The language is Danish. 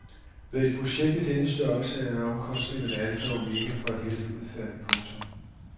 Ved et projekt af denne størrelse er omkostningerne alfa og omega for et heldigt udfald. punktum